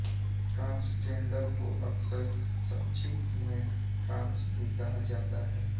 transgender को अक्सर संक्षिप्त में ट्रांस भी कहा जाता है